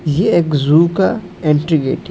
ये एक जू का एंट्री गेट है।